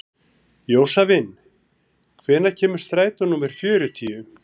Jósavin, hvenær kemur strætó númer fjörutíu?